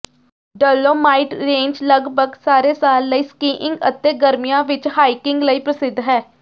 dolomite range ਲਗਭਗ ਸਾਰੇ ਸਾਲ ਲਈ ਸਕੀਇੰਗ ਅਤੇ ਗਰਮੀਆਂ ਵਿੱਚ ਹਾਈਕਿੰਗ ਲਈ ਪ੍ਰਸਿੱਧ ਹੈ